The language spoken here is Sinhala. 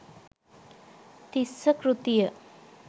තිස්ස කෘතිය